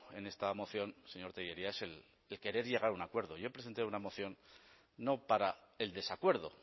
en esta moción señor tellería es el querer llegar a un acuerdo y yo presenté una moción no para el desacuerdo